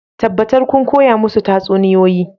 Tabbatar kun koya musu tatsuniyoyi